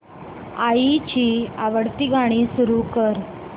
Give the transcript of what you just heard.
आईची आवडती गाणी सुरू कर